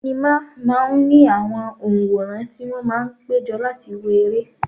Sinima máa ń ní àwọn onworan tí wón máa ń péjọ láti wo ere.